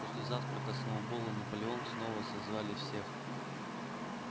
после завтрака сноуболл и наполеон снова созвали всех